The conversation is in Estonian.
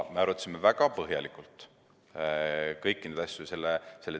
Me arutasime väga põhjalikult kõiki neid asju.